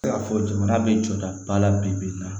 Se ka fɔ jamana bɛ jɔda ba la bi bi in na